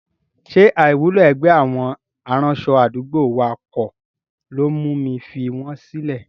Ṣé àìwúlò ẹgbẹ́ àwọn aránṣọ àdúgbò wa kọ́ ló mú mi fi wọn sílẹ̀?